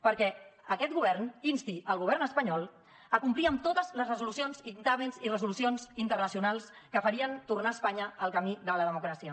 perquè aquest govern insti el govern espanyol a complir amb totes les resolucions dictàmens i resolucions internacionals que farien tornar espanya al camí de la democràcia